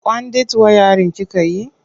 Kwandit wayarin kika yi?